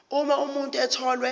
uma umuntu etholwe